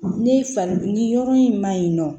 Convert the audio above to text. Ne fa ni yɔrɔ in ma ɲi nɔ